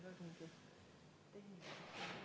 Head ametikaaslased!